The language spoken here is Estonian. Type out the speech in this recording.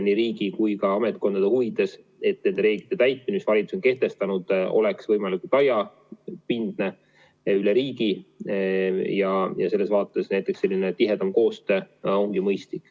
Nii riigi kui ka ametkondade huvides, et nende reeglite täitmine, mis valitsus on kehtestanud, oleks võimalikult laiapindne ja üle riigi, ongi selline tihedam koostöö mõistlik.